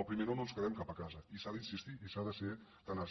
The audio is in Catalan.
al primer no no ens quedem cap a casa i s’ha d’insistir i s’ha de ser tenaç